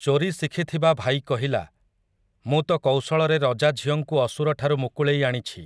ଚୋରୀ ଶିଖିଥିବା ଭାଇ କହିଲା, 'ମୁଁ ତ କୌଶଳରେ ରଜା ଝିଅଙ୍କୁ ଅସୁରଠାରୁ ମୁକୁଳେଇ ଆଣିଛି ।